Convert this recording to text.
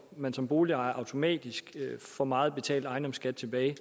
man som boligejer automatisk for meget betalt ejendomsskat tilbage